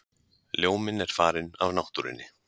Ljóminn er farinn af náttúrunni.